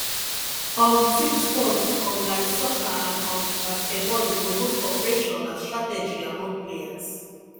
um team sports um like soccer and um basketball dey promote cooperation and strategy among players